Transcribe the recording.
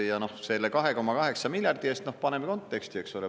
Ja selle 2,8 miljardi eest – noh, paneme konteksti, eks ole.